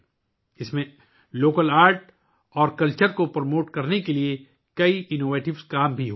مقامی فن اور ثقافت کو فروغ دینے کے لیے اس میں بہت سے اختراعی کام بھی کیے جاتے ہیں